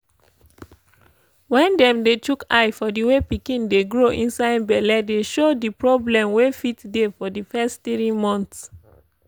wen dem dey chook eye for the way pikin dey grow inside belle dey show di problem wey fit dey for di fess tiri mont